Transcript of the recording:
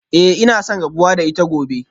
Eh ina son rabuwa da ita gobe